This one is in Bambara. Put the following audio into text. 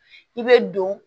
I bɛ don